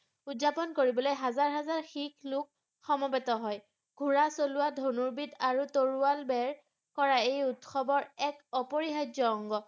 উদযাপন কৰিবলে হাজাৰ হাজাৰ শিখ লোক সমবেত হয় ঘোৰা চলোৱা আৰু ধনুৰ্বিদ আৰু তৰোৱাল বেৰ কৰা এই উৎসৱৰ এক অপৰিহাৰ্য্য অঙ্গ